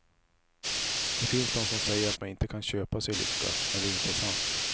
Det finns de som säger att man inte kan köpa sig lycka, men det är inte sant.